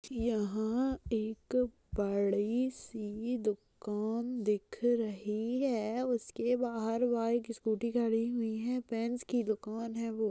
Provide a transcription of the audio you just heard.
यहाँ एक बड़ी सी दुकान दिख रही है। उसके बाहार एक वाइट स्कूटी खड़ी हुई है। पेन्स की दुकान है वो।